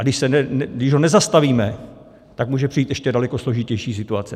A když ho nezastavíme, tak může přijít ještě daleko složitější situace.